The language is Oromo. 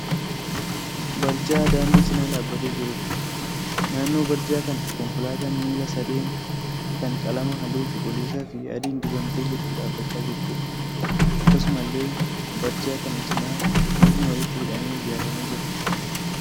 Barjaa daandii cina dhaabbatee jiruudha. Naannoo barjaa kanaa konkolaataan miila sadeen kan qalama halluu cuquliisaa fi adiin dibamtee jirtu dhaabbachaa jirtuudha. Akkasumallee barja kana cina mukni walitti hidhamee ijaaramee jira.